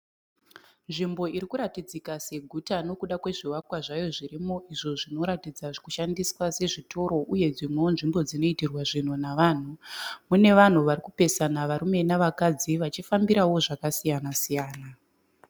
Nzvimbo iri kuratidzika seguta nokuda kwezvivakwa zvayo zvirimo izvo zvinoratidza kushandiswa sezvitoro uyewo dzimwewo nzvimbo dzinoitirwa zvinhu navanhu. Mune vanhu vari kupesana varume navakadzi vachifambirawo zvakasiyana.